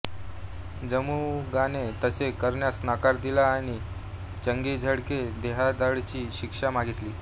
जमुगाने तसे करण्यास नकार दिला आणि चंगीझकडे देहदंडाची शिक्षा मागितली